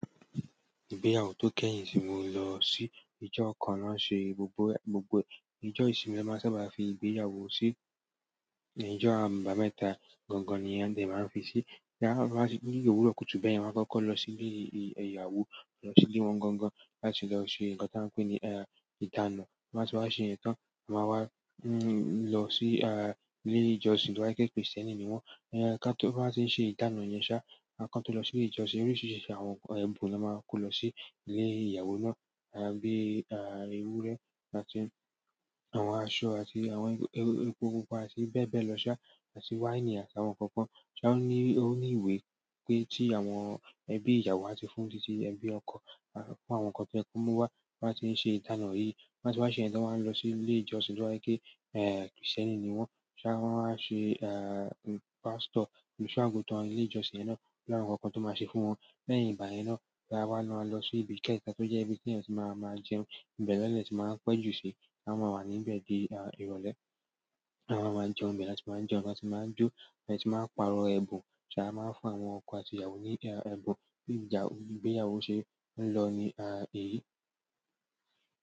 Ìgbéyàwó tó kẹ́yìn ti mo lọ sí ìjọ kan na ṣe gbogbo ẹ̀, gbogbo ìjọ ìsinmi ló máa sábà fi ìgbéyàwó sí, ìjọ àbámẹ́ta gangan ni ẹ̀ dẹ̀ máa ń fi sí. Jáa máa ti ní òwúrọ̀ kùtù bẹ́yen wọ́n á kọ́kọ́ lọ sí ilé ìyàwó, lọ sílé wọn gangan láti lọ ṣe ǹkan ta ń pè ní ìdána. Ti wọn ba tí wá se ìyẹn tàn, a máa wá lọ sí ilé ìjọsìn t'oba jẹ Krìstẹ́nì ni wọ́n. Tí wọn bá tiń ṣe ìdána yẹn ṣá, àwọn kan tó lọ sí ilé ìjọsìn oríṣiríṣi àwọn ẹ̀bùn la máa kó lọ sí ilé ìyàwó náà bíi ewúrẹ́ àti àwọn aṣọ àti àwọn epo pupa àti bẹ́ẹ̀ bẹ́ẹ̀ lọ ṣá àti wáìnì àti àwọn ǹkan kan. Ṣé ó ní ìwé pé tí àwọn ẹbí ìyàwó á ti fún títí ẹbí ọkọ fún àwọn ǹkan tí ẹ kú mú wá, wọ́n á ti ń ṣe ìdána yìí. Ti wọ́n bá tí wa ṣe yen tan wọ́n á lọ sí ilé ìjọsìn tó ba ṣe pe Krìstẹ́nì ni wọ́n. Ṣé wọ́n á ṣe pásítọ̀, olùṣọ́-àgùntàn ilé ìjọsìn yẹn náà lára ǹkan kan tó máa ṣe fún wọn. Lẹ́yìn ìgbà yen náà la wà má lọ sí ibi ìkẹyìn tó jẹ́ ibi tí èeyàn tí máa máa jẹun, ibẹ̀ lẹ dẹ ti máa ń pẹ́ jù sí, a máa wà níbẹ̀ di ìrọ̀lẹ́. A wá máa jẹun ibẹ̀ láti máa jẹun láti máa jó, láti máa pa'rọ̀ ẹ̀bùn. Ṣé a máa ń fún àwọn ọkọ àti ìyàwó ní ẹ̀bùn bí ìgbéyàwó ṣe ń lọ ni èyí.